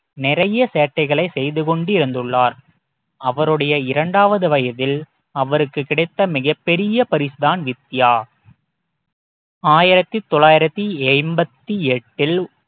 நிறைய சேட்டைகளை செய்து கொண்டு இருந்துள்ளார் அவருடைய இரண்டாவது வயதில் அவருக்கு கிடைத்த மிகப் பெரிய பரிசு தான் வித்யா ஆயிரத்தி தொள்ளாயிரத்தி எம்பத்தி எட்டில்